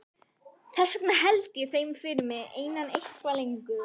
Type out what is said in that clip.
Þess vegna held ég þeim fyrir mig einan eitthvað lengur.